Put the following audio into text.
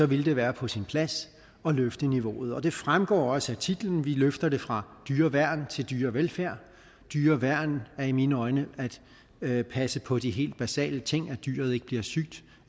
ville det være på sin plads at løfte niveauet og det fremgår også af titlen vi løfter det fra dyreværn til dyrevelfærd dyreværn er i mine øjne at passe på de helt basale ting at dyret ikke bliver sygt